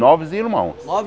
Nove irmãos.